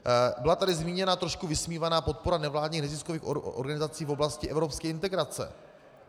Byla tady zmíněna trošku vysmívaná podpora nevládních neziskových organizací v oblasti evropské integrace.